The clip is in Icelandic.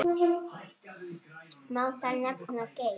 Má þar nefna: Geir